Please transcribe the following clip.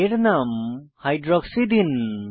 এর নাম হাইড্রক্সি দিন